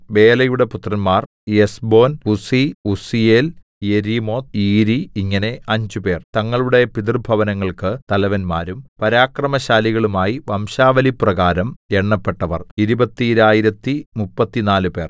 ബേലയുടെ പുത്രന്മാർ Ezbon Uzzi Uzziel Jerimoth Iri ഇങ്ങനെ അഞ്ചുപേർ തങ്ങളുടെ പിതൃഭവനങ്ങൾക്ക് തലവന്മാരും പരാക്രമശാലികളുമായി വംശാവലിപ്രകാരം എണ്ണപ്പെട്ടവർ ഇരുപത്തീരായിരത്തി മുപ്പത്തിനാലുപേർ